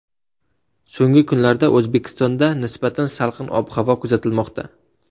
So‘nggi kunlarda O‘zbekistonda nisbatan salqin ob-havo kuzatilmoqda.